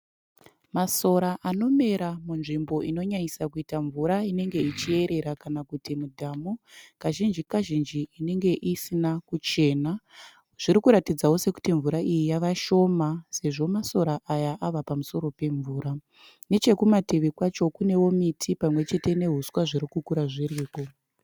Masora anomera munzvimbo inonyanyisa kuita mvura inenge ichierera kana kuti mudhamu kazhinji kazhinji inenge isina kuchena, zviri kuratidzawo sekuti mvura iyi yava shoma sezvo masora aya avapa musoro pemvura nechekumativi kwacho kunewo miti pamwe chete nehuswa zviri kukura zviriko.